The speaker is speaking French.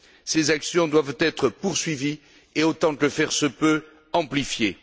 Ces actions doivent être poursuivies et, autant que faire se peut, amplifiées.